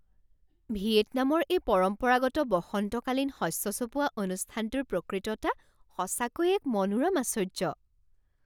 ভিয়েটনামৰ এই পৰম্পৰাগত বসন্তকালীন শস্য চপোৱা অনুষ্ঠানটোৰ প্ৰকৃততা সঁচাকৈ এক মনোৰম আশ্চৰ্য্য।